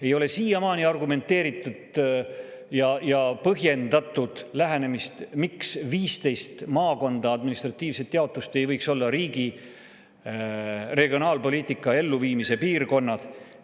Ei ole siiamaani argumenteeritud ja põhjendatud lähenemist, miks 15 maakonda, administratiivset jaotust, ei võiks olla riigi regionaalpoliitika elluviimise piirkonnad.